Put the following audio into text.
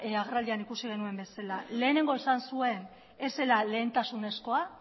agerraldian ikusi genuen bezala lehenengo esan zuen ez zela lehentasunezkoa